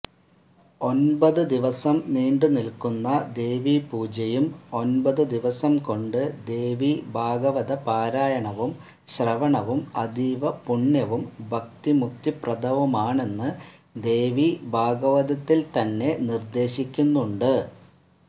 ഒൻപതു ദിവസം നീണ്ടുനില്ക്കുന്ന ദേവീപൂജയും ഒൻപതുദിവസംകൊണ്ട് ദേവീഭാഗവതപാരായണവും ശ്രവണവും അതീവപുണ്യവും ഭക്തിമുക്തിപ്രദവുമാണെന്ന് ദേവീഭാഗവതത്തിൽത്തന്നെ നിർദ്ദേശിക്കുന്നുണ്ട്